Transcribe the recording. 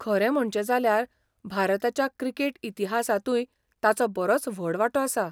खरें म्हणचें जाल्यार, भारताच्या क्रिकेट इतिहासांतूय ताचो बरोच व्हड वांटो आसा.